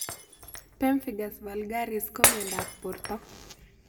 Pemphigus vulgaris ko miondop porto